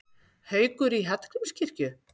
Haukur í Hallgrímskirkju